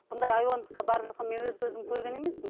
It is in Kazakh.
бұндай айуандыққа барып жатқан мен өз көзім көрген емеспін